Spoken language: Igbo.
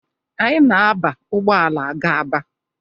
Anyị na-aba ụgbọala aga Aba.